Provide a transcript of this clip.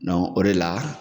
Dɔnku o de la.